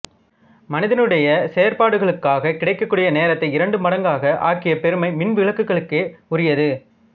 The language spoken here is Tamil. மனிதனுடைய செயற்பாடுகளுக்காகக் கிடைக்கக்கூடிய நேரத்தை இரண்டு மடங்காக ஆக்கிய பெருமை மின்விளக்குகளுக்கே உரியது